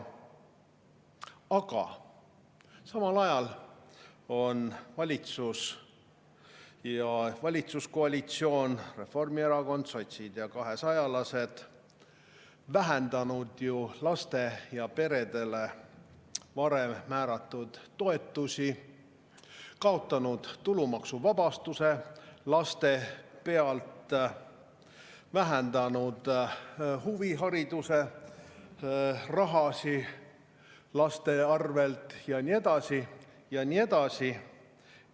Aga samal ajal on valitsus ja valitsuskoalitsioon – Reformierakond, sotsid ja kahesajalased – vähendanud ju lastele ja peredele varem määratud toetusi, kaotanud tulumaksuvabastuse laste eest, vähendanud huvihariduse raha laste arvel ja nii edasi ja nii edasi.